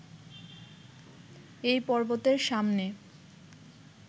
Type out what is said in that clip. এই পর্বতের সামনে